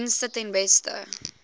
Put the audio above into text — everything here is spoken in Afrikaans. dienste ten beste